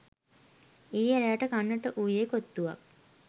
ඊයේ රෑට කන්නට වූයේ කොත්තුවක්